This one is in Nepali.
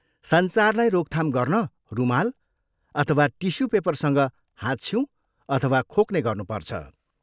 सञ्चारलाई रोकथाम गर्न रुमाल अथवा टिस्यु पेपरसँग हाच्छिउँ अथवा खोक्ने गर्नुपर्छ।